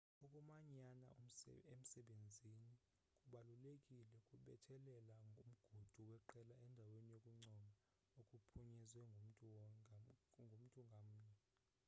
ukumanyana emsebenzini kubalulekile kubethelela umgudu weqela endaweni yokuncoma okuphunyezwe ngumntu ngamnye